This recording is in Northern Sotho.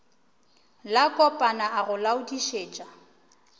la kopana a go laodišetša